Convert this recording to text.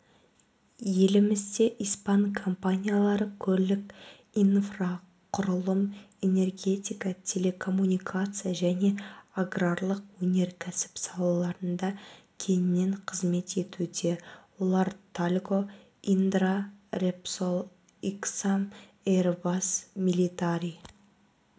елімізде испан компаниялары көлік инфрақұрылым энергетика телекоммуникация және аграрлық өнеркәсіп салаларында кеңінен қызмет етуде олар тальго индра репсол ксам эйрбас милитари